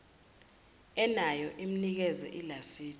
enayo mnikeze ilasidi